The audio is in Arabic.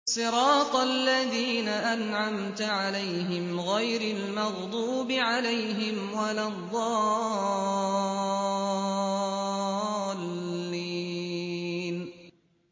صِرَاطَ الَّذِينَ أَنْعَمْتَ عَلَيْهِمْ غَيْرِ الْمَغْضُوبِ عَلَيْهِمْ وَلَا الضَّالِّينَ